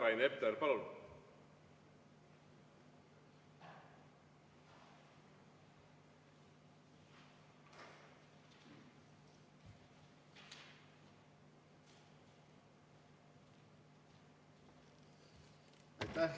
Rain Epler, palun!